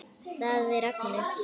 Það er Agnes.